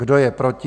Kdo je proti?